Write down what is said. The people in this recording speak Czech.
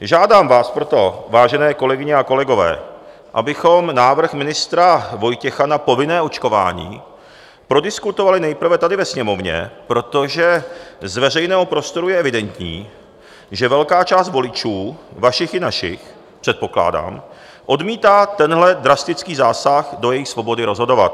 Žádám vás proto, vážené kolegyně a kolegové, abychom návrh ministra Vojtěcha na povinné očkování prodiskutovali nejprve tady ve Sněmovně, protože z veřejného prostoru je evidentní, že velká část voličů, vašich i našich, předpokládám, odmítá tenhle drastický zásah do jejich svobody rozhodovat.